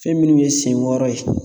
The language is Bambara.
Fɛn minnu ye senwɔrɔ ye